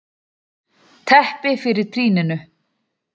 Teppi fyrir trýninu.